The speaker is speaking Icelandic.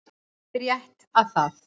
Það er rétt að það